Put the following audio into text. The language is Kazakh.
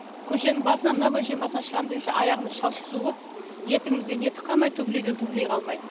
көшенің басынан мына көшенің басынан шығам дегенше аяғымыз шалшық су боп етігімізден етік қалмайды туфлиден туфли қалмайды